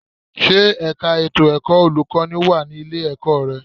Ṣé ẹ̀ka ètò ẹ̀kọ́ olùkọ́ní wà ní ilé-ẹ̀kọ́ rẹ?